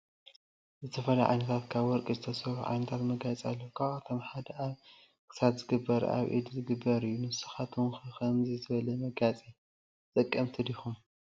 ዝተፈላለዩ ዓይነታት ካብ ወርቂ ዝሱሩሑ ዓይነታት መጋየፂ አለው ካብአቶም ሓደ አብ ክሳድካ ዝግበርን አብ ኢድ ዝገበርን እዩ። ንስካትኩም ከ ከምዚ ዝበለ መጋየፂ ተጠቀምቲ ዲኩም?